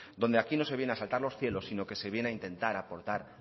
donde aquí no se viene a asaltar los cielos sino que se viene a intentar aportar